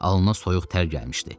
Alnına soyuq tər gəlmişdi.